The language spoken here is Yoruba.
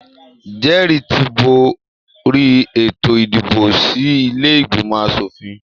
Jẹ́rì ti borí ètò ìdìbò sí ilé ìgbìmọ aṣòfin